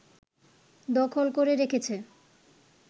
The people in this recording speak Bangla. দখল করে রেখেছে